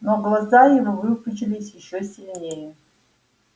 но глаза его выпучились ещё сильнее